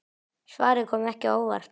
Svarið kom ekki á óvart.